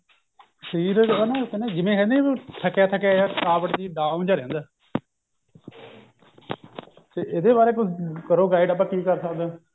ਸ਼ਰੀਰ ਹੈਂ ਨਹੀਂ ਜਿਵੇਂ ਨਾ ਥਕਿਆ ਥਕਿਆ ਜਿਹਾ ਥਕਾਵਟ ਜੀ down ਜਿਹਾ ਰਹਿੰਦਾ ਤੇ ਇਹਦੇ ਬਾਰੇ ਕਰੋ ਕੁੱਛ guide ਆਪਾਂ ਕੀ ਕਰ ਸਕਦੇ ਹਾਂ